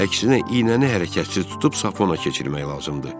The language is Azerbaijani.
Əksinə, iynəni hərəkətsiz tutub sapı ona keçirmək lazımdır.